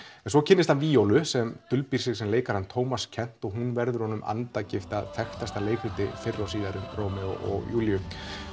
en svo kynnist hann víólu sem dulbýr sig sem leikarann Tómas Kent og hún verður honum andagift að frægasta leikriti fyrr og síðar um Rómeó og Júlíu